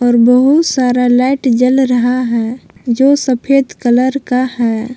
और बहुत सारा लाइट जल रहा है जो सफेद कलर का है।